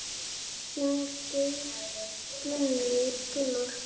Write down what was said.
Þinn, Geir Gunnar.